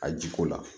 A jiko la